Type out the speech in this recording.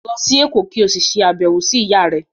Lọ sí Èkó kí o sì ṣe àbẹ̀wò sí ìyáà rẹ.